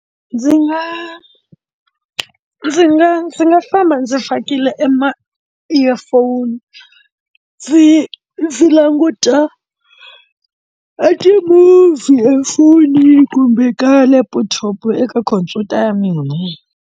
Ndzi nga ndzi nga ndzi nga famba ndzi fakile ema earphone ndzi ndzi languta a ti-movie efonini kumbe ka laptop eka khompyuta ya mina.